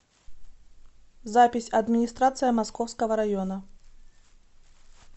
запись администрация московского района